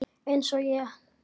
Eins og ég?